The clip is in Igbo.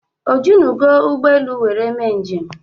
O jinugo ụgbọelu were mee njem?